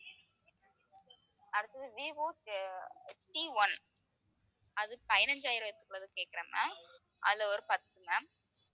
அடுத்தது விவோ அஹ் Cone அது, பதினைந்தாயிரம் இருக்க உள்ளது கேட்கிறேன் ma'am அதுல ஒரு பத்து கொடுங்க